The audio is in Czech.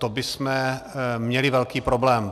To bychom měli velký problém.